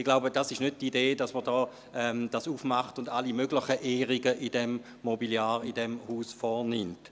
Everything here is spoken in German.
Ich glaube, es ist nicht die Idee, dies zu öffnen und alle möglichen Ehrungen am Mobiliar in diesem Haus vorzunehmen.